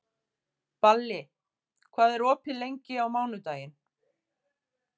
Balli, hvað er opið lengi á mánudaginn?